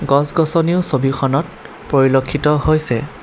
গছ গছনিও ছবিখনত পৰিলক্ষিত হৈছে।